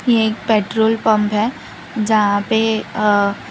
एक petrol pump है जहां पे अह --